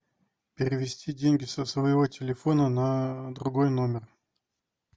перевести деньги со своего телефона на другой номер